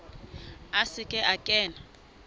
a se ke a kena